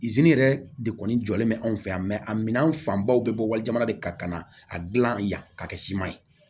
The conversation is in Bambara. zeni yɛrɛ de kɔni jɔlen bɛ anw fɛ yan a minɛn fanbaw bɛ bɔ wali jamana de kan ka na a dilan yan k'a kɛ siman ye